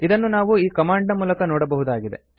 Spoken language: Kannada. ಇದನ್ನು ನಾವು ಈ ಕಮಾಂಡ್ ನ ಮೂಲಕ ನೋಡಬಹುದಾಗಿದೆ